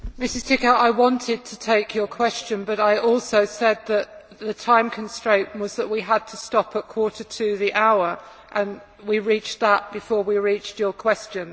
Mrs Ţicău, I wanted to take your question but I also said that the time constraint was that we had to stop at quarter to the hour and we reached that before we reached your question.